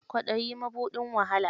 Kwaɗayi, mabuɗin wahala.